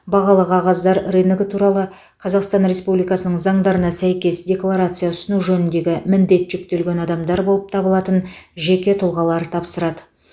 бағалы қағаздар рыногы туралы қазақстан республикасының заңдарына сәйкес декларация ұсыну жөніндегі міндет жүктелген адамдар болып табылатын жеке тұлғалар тапсырады